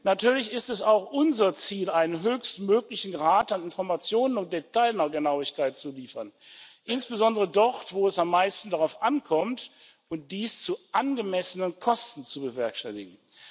Natürlich ist es auch unser Ziel, einen höchstmöglichen Grad an Informationen und Detailgenauigkeit zu liefern, insbesondere dort, wo es am meisten darauf ankommt, und dies zu angemessenen Kosten zu bewerkstelligen.